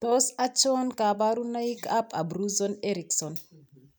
Tos achon kabarunaik ab Abruzzo Erickson ?